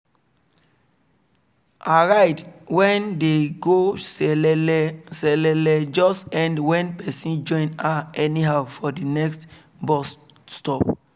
her ride when dey go selele selele just end when person join her anyhow for the next bus stop.